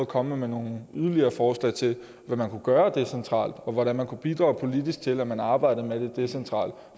komme med nogle yderligere forslag til hvad man kunne gøre decentralt og hvordan man kunne bidrage politisk til at man arbejdede med det decentralt